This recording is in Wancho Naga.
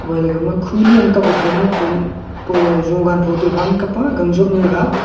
gama ga khu nem kam pa jogan photo gang jop noi ga.